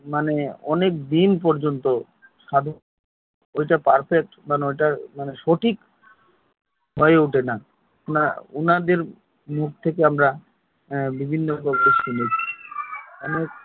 অনেক দিন পর্যন্ত সাধনা ঐটা perfect মানে ঐটা সঠিক হয়ে ওঠে না উনাদের মুখ থেকে আমরা আহ বিভিন্ন